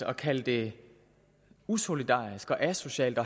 at kalde det usolidarisk og asocialt at